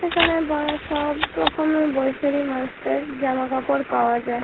এখানে বয়স সব রকমই বয়সের মানুষদের জামা কাপড় পাওয়া যায়।